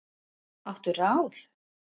Áttu ráð?